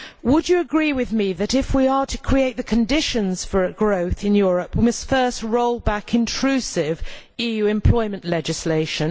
Would you agree with me that, if we are to create the conditions for growth in Europe, we must first roll back intrusive EU employment legislation?